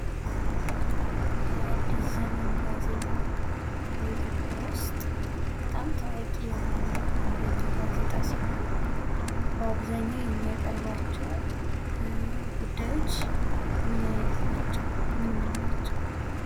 የአዲስ ዘመን ጋዜጣ በኢትዮጵያ ውስጥ በጣም ታዋቂ የሆነ እና አንደኛው ጋዜጣ ሲሆን በአብዛኛው የሚያቀርባቸው ጉዳዮች ምን አይነት ናቸው? ምን ምን ናቸው?